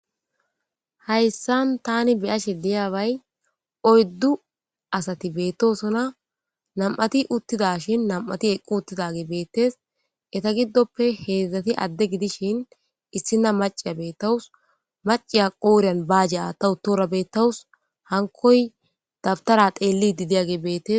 Hayssan tani beyashe diyaabay oyddu asati beettosona nam'ati uttidashin nam'ati eqqu uttidage beettes etagiddoppe heedzdzati adde gidishin issina maciya beettawus maciya qooriyan baajeata utora beettawus hankoy dabtara teellidi diyage beettes.